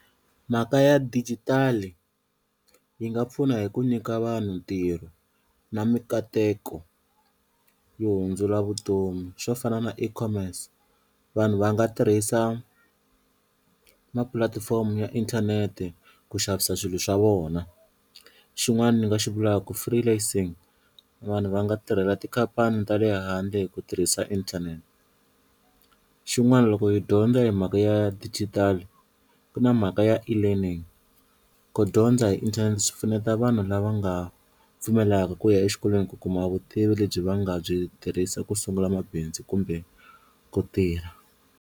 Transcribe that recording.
Mhaka ya dijitali yi nga pfuna hi ku nyika vanhu ntirho na mikateko yo hundzula vutomi swo fana na vanhu va nga tirhisa ma pulatifomo ya inthanete ku xavisa swilo swa vona, xin'wana ni nga xi vulaka ku free lancing vanhu va nga tirhela tikhampani ta le handle hi ku tirhisa inthanete, xin'wana loko hi dyondza hi mhaka ya digital ku na mhaka ya e-learning ku dyondza hi inthanete swi pfuneta vanhu lava nga ha pfumelaka ku ya exikolweni ku kuma vutivi lebyi va nga byi tirhisa ku sungula mabindzu kumbe ku tirha.